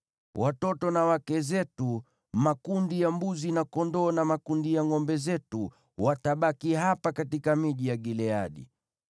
Watoto na wake zetu, makundi ya mbuzi na kondoo, na makundi ya ngʼombe zetu, watabaki hapa katika miji ya Gileadi.